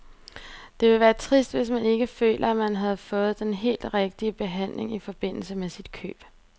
Det ville være trist, hvis man ikke følte, at man havde fået den helt rigtige behandling i forbindelse med sit køb.